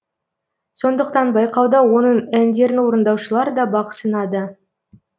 сондықтан байқауда оның әндерін орындаушылар да бақ сынады